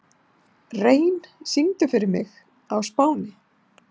Rein, syngdu fyrir mig „Á Spáni“.